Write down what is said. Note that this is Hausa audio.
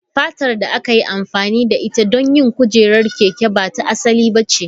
Fatar da aka yi amfani da ita don yin kujerar keke ba ta asali ba ce.